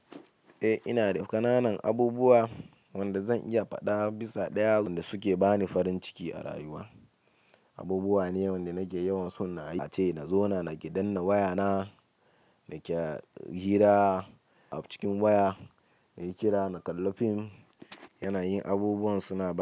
Eh ina da ƙananan abubuwa wanda zan iya faɗa bisa ɗaya wanda suke bani farin ciki a rayuwa. Abubuwa ne wanda nake yawan son na aiki, na zauna naƙi dannan wayana, naƙi hira a cikin waya, nake kira, na kalla fim. Yana yin abubuwan suna.